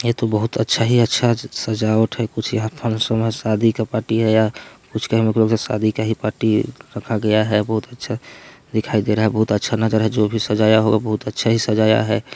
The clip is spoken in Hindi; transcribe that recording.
ये तो बहुत अच्छा ही अच्छा सजावट हैं कुछ यहाँ फंक्शन या शादी का पार्टी हैं या कुछ शादी का ही पार्टी रखा गया हैं बहुत अच्छा दिखाई दे रहा हैं बहुत अच्छा नज़ारा हैं जो भी सजाया हुआ हैं बहुत ही अच्छा ही सजाया हैं ।